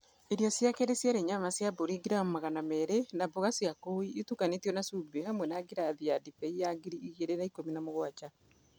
Irio cia kerĩ ciarĩ nyama cia mbũri ngiramu magana merĩ na mboga cia kũu itukanĩtio na cumbĩ hamwe na ngirathi ya ndibei ya ngiri igĩrĩ na ikũmi na mũgwanja.